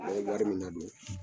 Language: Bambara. A ye wari min nadon